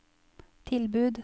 tilbud